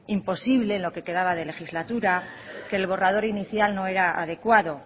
imposible en lo que quedaba de legislatura que el borrador inicial no era adecuado